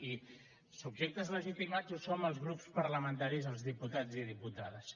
i subjectes legitimats ho som els grups parlamentaris i els diputats i diputades